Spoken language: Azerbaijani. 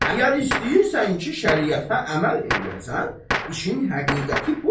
Əgər istəyirsən ki, şəriətə əməl eləyəsən, işin həqiqəti budur.